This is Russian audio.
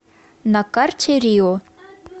на карте рио